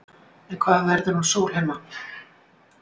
En hvað verður um Sólheima?